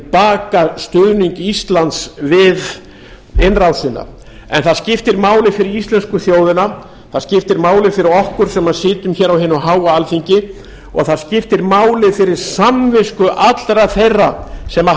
baka stuðning íslands við innrásina en skipti máli fyrir íslensku þjóðina það skipti máli fyrir okkur sem sitjum á hinu háa alþingi og það skiptir máli fyrir samvisku allra þeirra sem